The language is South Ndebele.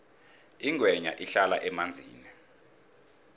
ingwenya ihlala emanzini